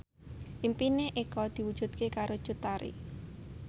impine Eko diwujudke karo Cut Tari